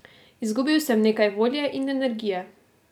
Izgubil sem nekaj volje in energije.